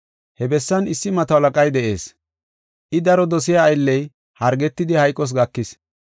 He bessan issi mato halaqay de7ees. I daro dosiya aylley hargetidi hayqos gakis.